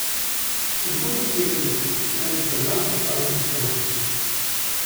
V zgodnjih sedemdesetih naj bi program postal sistematičen.